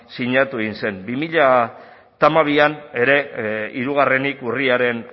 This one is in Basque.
sinatu egin zen bi mila hamabian ere hirugarrenik urriaren